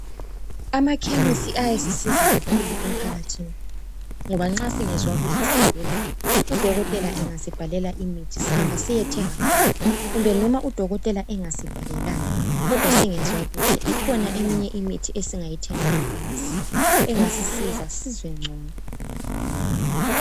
Amakhemisi ayasisiza kakhulu emphakathini ngoba nxa singezwa kuhle sigula udokotela engasibhalela imithi sihamba siyethenga khona kumbe noma udokotela engasibhalelanga kodwa singezwa kuhle ikhona eminye imithi esingayithenga efamasi engasisiza sizizwe ngcono.